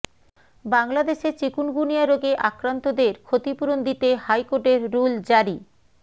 বাংলাদেশে চিকুনগুনিয়া রোগে আক্রান্তদের ক্ষতিপূরণ দিতে হাইকোর্টের রুল জারি